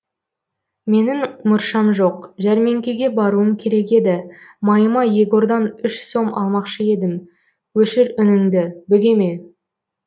менің мұршам жоқ жәрмеңкеге баруым керек еді майыма егордан үш сом алмақшы едім өшір үніңді бөгеме